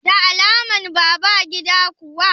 Da alaman baba a gida kuwa?